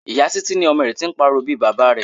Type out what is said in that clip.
Ìyá Títí ní ọmọ rẹ tí ń pariwo bí Baba rẹ.